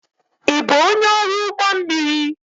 Ị bụ onye ọrụ ụgbọ mmiri?